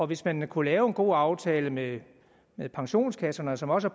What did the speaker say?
hvis man kunne lave en god aftale med med pensionskasserne som også